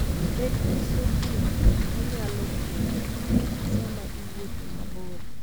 Bed gi sokni ma nyalo konyi sama iwuotho mabor.